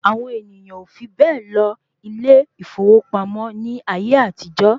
Àwọn ènìyàn ò fi bẹ́ẹ̀ lọ ilé ìfowópamọ́ ní ayé àtijó.